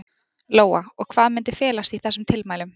Lóa: Og hvað myndi felast í þessum tilmælum?